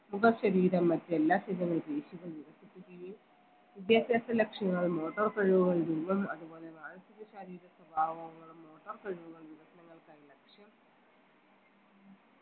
മുഖ ശരീരം മറ്റെല്ലാ ശരീര പേശികൾ വികസിപ്പിക്കുകയും വിദ്യാഭ്യാസ ലക്ഷണങ്ങളും motor കഴിവുകളും മൂലം അതുപോലെ മാനസിക ശാരീരിക സ്വഭാവങ്ങളും motor കഴിവുകളും വികസനങ്ങൾക്കായുള്ള ലക്ഷ്യം